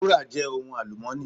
Wúrà je ohun alumọ́nì.